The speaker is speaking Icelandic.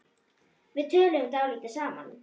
Við töluðum dálítið saman.